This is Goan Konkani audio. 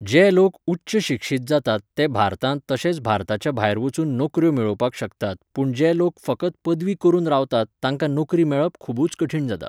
जे लोक उच्च शिक्षीत जातात ते भारतांत तशेंच भारताच्या भायर वचून नोकऱ्यो मेळोवपाक शकतात पूण जे लोक फकत पदवी करून रावतात तांकां नोकरी मेळप खुबूच कठीण जाता